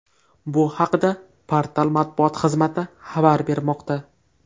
Bu haqda portal matbuot xizmati xabar bermoqda .